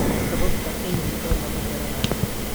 Sababta MPA lama garanayo.